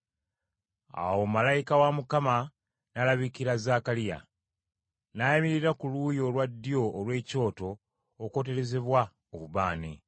Awo malayika wa Mukama n’alabikira Zaakaliya, n’ayimirira ku luuyi olwa ddyo olw’ekyoto okwoterezebwa obubaane!